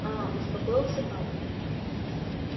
а успокоился папа